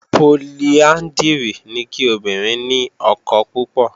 Poliándírì ni kí obìnrin ni ọkọ púpọ̀